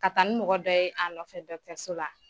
Ka taa ni mɔgɔ dɔ ye a nɔfɛ dɔtɛriso la.